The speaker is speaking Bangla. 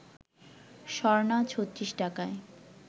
স্বর্ণা ৩৬ টাকায়